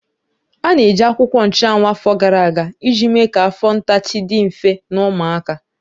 A na-eji akwụkwọ nchuanwu afọ gara aga iji mee ka afọ ntachi dị mfe na ụmụaka.